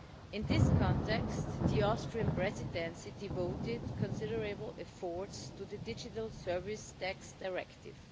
In this context, the Austrian Presidency devoted considerable efforts to the Digital Service Tax Directive.